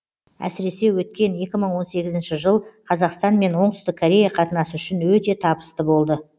әсіресе өткен екі мың он сегізінші жыл қазақстан мен оңтүстік корея қатынасы үшін өте табысты болды